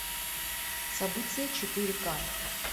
событие четыре ка